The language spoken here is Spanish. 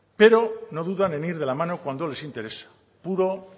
pero no dudan en ir de la mano cuando les interesa puro